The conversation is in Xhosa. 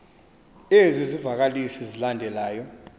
ezi zivakalisi zilandelayo